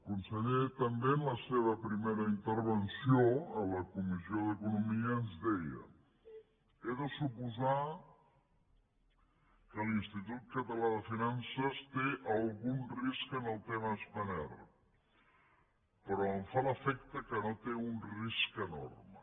conseller també en la seva primera intervenció a la comissió d’economia ens deia he de suposar que l’institut català de finances té algun risc en el tema de spanair però em fa l’efecte que no té un risc enorme